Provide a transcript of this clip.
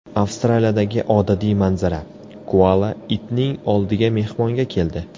Avstraliyadagi odatiy manzara: koala itning oldiga mehmonga keldi.